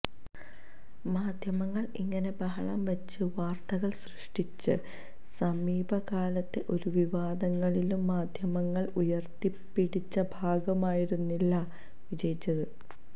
മാധ്യമങ്ങള് ഇങ്ങനെ ബഹളം വച്ച് വാര്ത്തകള് സൃഷ്ടിച്ച സമീപ കാലത്തെ ഒരു വിവാദങ്ങളിലും മാധ്യമങ്ങള് ഉയര്ത്തിപ്പിടിച്ച ഭാഗമായിരുന്നില്ല വിജയിച്ചത്